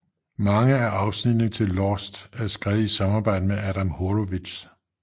Mange af afsnittene til Lost er skrevet i samarbejde med Adam Horowitz